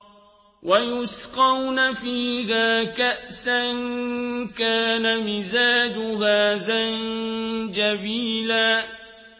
وَيُسْقَوْنَ فِيهَا كَأْسًا كَانَ مِزَاجُهَا زَنجَبِيلًا